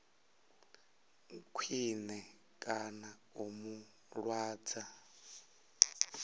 khwine kana u mu lwadza